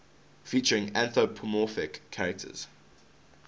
featuring anthropomorphic characters